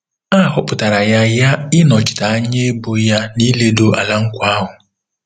A họpụtara ya ya ịnọchite anya ebo ya n'iledo Ala Nkwa ahụ.